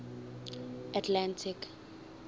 atlantic